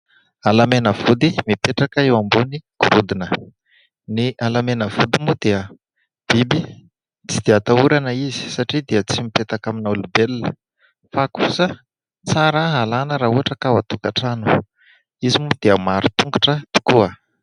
Halamenavody mipetraka eo ambony gorodona. Ny halamenavody moa dia biby tsy dia ahatahorana izy satria dia tsy mipetaka amina olombelona fa kosa tsara alana raha ohatra ka ao an-tokantrano. Izy moa dia maro tongotra tokoa.